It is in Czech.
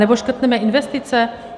Anebo škrtneme investice?